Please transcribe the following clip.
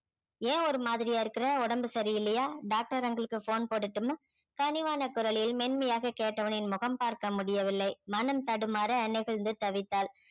ஏன் ஒரு மாதிரியா இருக்குற உடம்பு சரி இல்லையா doctor uncle க்கு phone போடட்டுமா பணிவான குரலில் மென்மையாக கேட்டவனின் முகம் பார்க்க முடியவில்லை மனம் தடுமாற நெகிழ்ந்து தவித்தாள்